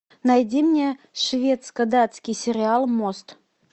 найди мне шведско датский сериал мост